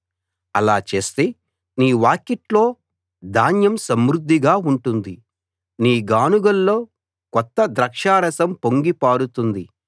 అలా చేస్తే నీ వాకిట్లో ధాన్యం సమృద్ధిగా ఉంటుంది నీ గానుగల్లో కొత్త ద్రాక్షారసం పొంగి పారుతుంది